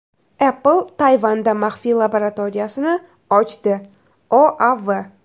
Apple Tayvanda maxfiy laboratoriyasini ochdi OAV.